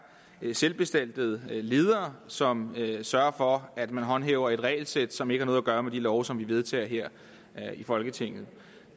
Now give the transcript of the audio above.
selvbestaltede ledere som sørger for at man håndhæver et regelsæt som ikke har noget at gøre med de love som vi vedtager her i folketinget